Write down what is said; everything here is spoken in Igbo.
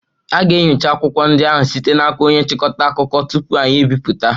A ga-enyocha akwụkwọ ndị ahụ site n'aka onye nchịkọta akụkọ tupu anyị ebipụta